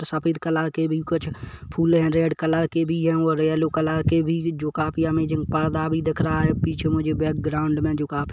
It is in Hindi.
सफेद रंग के भी कुछ फुले है रेड कलर और येलो के भी जो काफी अमेजिंग पर्दा भी दिख रहा है पीछे मुझे बैकग्राउंड में काफी--